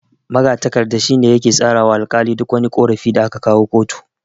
Magatakarda shine yake tsara wa alkali duk wani ƙorafi da aka kawo kotu.